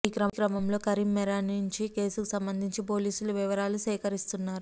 ఈ క్రమంలో కరీంమోరానీ నుంచి కేసుకు సంబంధించి పోలీసులు వివరాలు సేకరిస్తున్నారు